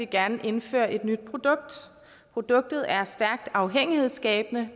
gerne indføre et nyt produkt produktet er stærkt afhængighedsskabende